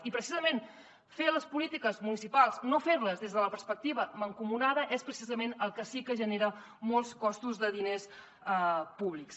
i precisament no fer les polítiques municipals des de la perspectiva mancomunada és precisament el que sí que genera molts costos de diners públics